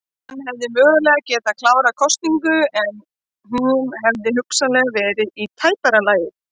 Hann hefði mögulega getað klárað kosningu en hún hefði hugsanlega verið í tæpara lagi.